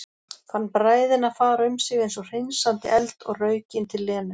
Fann bræðina fara um sig eins og hreinsandi eld og rauk inn til Lenu.